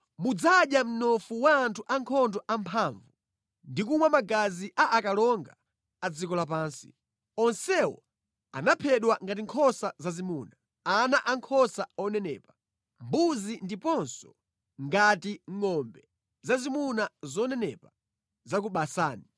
Mudzadya mnofu wa anthu ankhondo amphamvu ndi kumwa magazi a akalonga a dziko lapansi. Onsewo anaphedwa ngati nkhosa zazimuna, ana ankhosa onenepa, mbuzi ndiponso ngati ngʼombe zazimuna zonenepa za ku Basani.